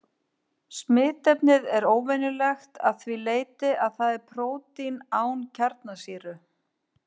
Smitefnið er óvenjulegt að því leyti að það er prótín án kjarnasýru.